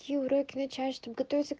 юрек начальством готовится